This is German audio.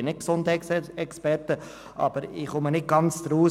Ich bin kein Gesundheitsexperte, aber ich verstehe nicht ganz, warum